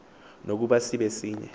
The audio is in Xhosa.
nokuba sibe sinye